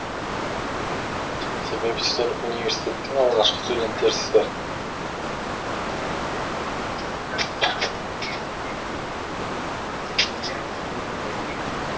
себебі сіздер университеттің алғашқы студенттерісіздер